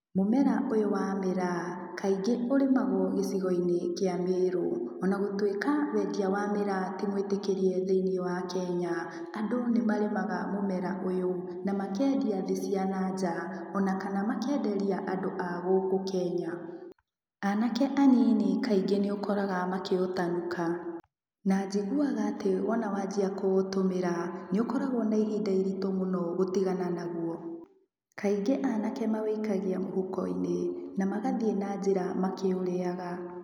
Mũmera ũyũ wa mĩraa, kaingĩ ũrĩmagwo gĩcigo-inĩ kĩa Meru. Ona gũtũĩka wendia wa mĩraa, ti mwĩtĩkĩrie thĩinĩ wa Kenya, andũ nĩ marĩmaga mũmera ũyũ na makendia thĩ cia na nja, o na kana makenderia andũ a gũkũ Kenya. Anake anini kaingĩ nĩ ũkoraga makĩũtanuka, na njiguaga atĩ wona wanjia kũũtũmĩra, nĩũkoragwo na ihinda iritũ mũno gũtigana na guo. Kaingĩ anake maũikagia mũhuko-inĩ, na magathiĩ na njĩra makĩũrĩaga.